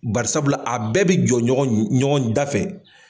Barisabula a bɛɛ bɛ jɔ ɲɔgɔnda fɛ.